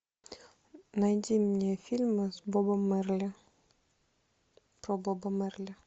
найди мне фильмы с бобом марли про боба марли